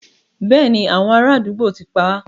Béèni, àwọn ará àdúgbò ti pá á.